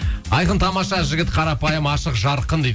айқын тамаша жігіт қарапайым ашық жарқын дейді